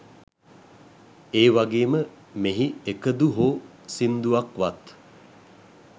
ඒවගේම මෙහි එකදු හෝ සිංදුවක්වත්